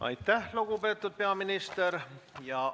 Aitäh, lugupeetud peaminister!